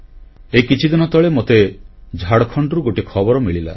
ଏହି କିଛିଦିନ ତଳେ ମତେ ଝାଡ଼ଖଣ୍ଡରୁ ଗୋଟିଏ ଖବର ମିଳିଲା